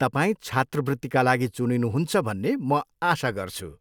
तपाईँ छात्रवृत्तिका लागि चुनिनुहुन्छ भन्ने म आशा गर्छु।